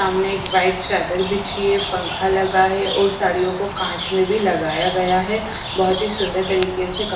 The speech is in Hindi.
सामने एक वाइट चादर बिछी है पंखा लगा है और साड़ियों को कांच में भी लगाया गया है बहुत ही सुंदर तरीके से क --